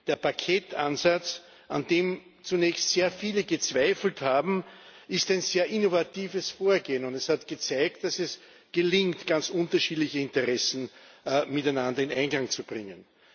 Der Paketansatz, an dem zunächst sehr viele gezweifelt haben, ist ein sehr innovatives Vorgehen, und es hat gezeigt, dass es gelingt, ganz unterschiedliche Interessen miteinander in Einklang zu bringen.